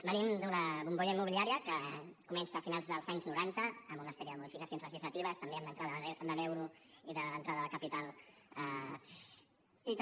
venim d’una bombolla immobiliària que comença a finals dels anys noranta amb una sèrie de modificacions legislatives també amb l’entrada de l’euro i l’entrada de capital i també